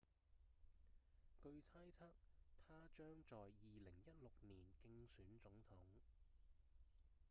據猜測他將在2016年競選總統